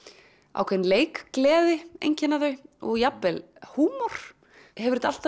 ákveðin leikgleði einkenna þau og jafnvel húmor hefur þetta alltaf